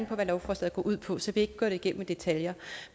på hvad lovforslaget går ud på så jeg ikke gå det igennem i detaljer